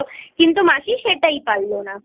মাসি সেটাই পারল না।